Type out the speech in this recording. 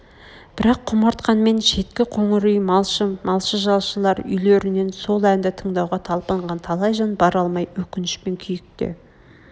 бірақ құмартқанмен шеткі қоңыр үй малшы малшы-жалшылар үйлерінен сол әнді тыңдауға талпынған талай жан бара алмай өкінішпен күйкте